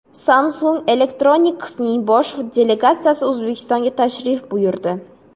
Samsung Electronics’ning bosh delegatsiyasi O‘zbekistonga tashrif buyurdi.